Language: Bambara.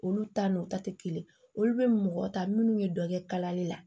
Olu ta nɔ ta tɛ kelen olu bɛ mɔgɔ ta minnu bɛ dɔ kɛ kalali la